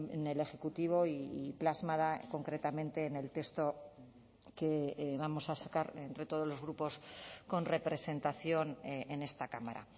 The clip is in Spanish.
en el ejecutivo y plasmada concretamente en el texto que vamos a sacar entre todos los grupos con representación en esta cámara